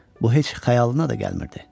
Bu heç xəyalına da gəlmirdi.